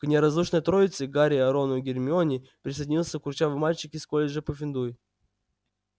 к неразлучной троице гарри рону гермионе присоединился курчавый мальчик из колледжа пуффендуй